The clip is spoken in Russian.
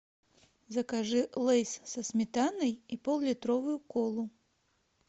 закажи лейс со сметаной и поллитровую колу